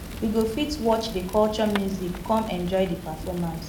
we go fit watch di culture music come enjoy di performance